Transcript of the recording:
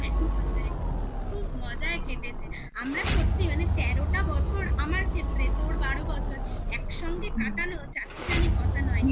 একদম একদম খুব মজায় কেটেছে আমরা সত্যি মানে তেরোটা বছর আমার ক্ষেত্রে তোর বারো বছর একসঙ্গে কাটানো চারটি খানি কথা নয়